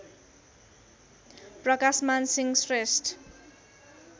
Prakashman Singh Shrestha